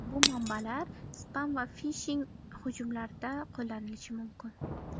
Bu manbalar spam va fishing hujumlarida qo‘llanishi mumkin.